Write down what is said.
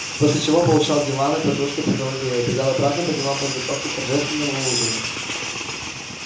после чего получал диванной подушкой по голове и убегал обратно по делам подготовки торжественного ужина